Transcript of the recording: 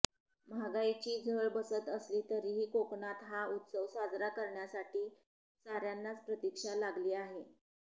महागाईची झळ बसत असली तरीही कोकणात हा उत्सव साजरा करण्यासाठी साऱयांनाच प्रतिक्षा लागली आहे